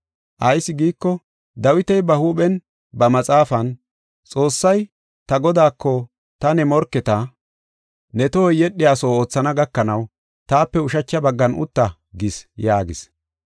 Ayis giiko, Dawiti ba huuphen ba maxaafan, “ ‘Xoossay ta Godaako “Ta ne morketa ne tohoy yedhiyaso oothana gakanaw taape ushacha baggan utta” gis’ yaagis.